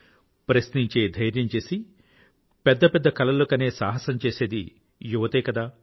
ప్రశ్నించే ధైర్యం చేసి పెద్ద పెద్ద కలలను కనే సాహసం చేసేది యువతే కదా